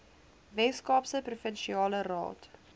weskaapse provinsiale raad